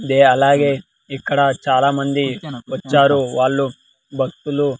అలాగే ఇక్కడ చాలామంది వచ్చారు వాళ్ళు భక్తులు.